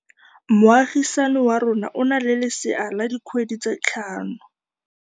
Moagisane wa rona o na le lesea la dikgwedi tse tlhano.